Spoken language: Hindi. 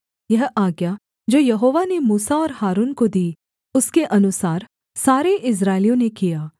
यह आज्ञा जो यहोवा ने मूसा और हारून को दी उसके अनुसार सारे इस्राएलियों ने किया